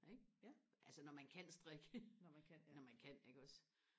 ikke altså når man kan strikke når man kan iggås